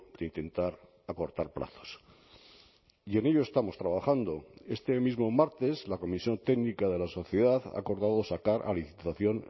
de intentar acortar plazos y en ello estamos trabajando este mismo martes la comisión técnica de la sociedad ha acordado sacar a licitación